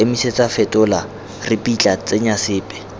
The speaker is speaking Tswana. emisetsa fetola ripitla tsenya sepe